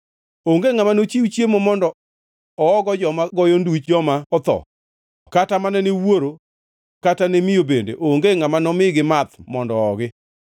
Onge ngʼama nochiw chiemo mondo oogo joma goyo nduch joma otho kata mana newuoro kata miyo bende onge ngʼama nomigi math mondo oogi.